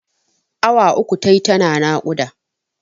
Awa uku tayi tana naƙuda.